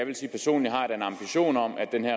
denne